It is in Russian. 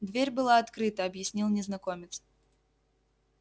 дверь была открыта объяснил незнакомец